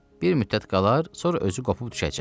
Bir müddət qalar, sonra özü qopub düşəcək.